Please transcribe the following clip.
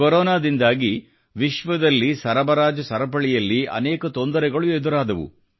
ಕೊರೊನದಿಂದಾಗಿ ವಿಶ್ವದಲ್ಲಿ ಸರಬರಾಜು ಸರಪಳಿಯಲ್ಲಿ ಅನೇಕ ತೊಂದರೆಗಳು ಎದುರಾದವು